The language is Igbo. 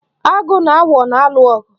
Agụ na agwọ na-alụ ọgụ.